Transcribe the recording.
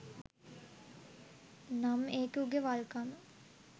නම් ඒක උගෙ වල්කම.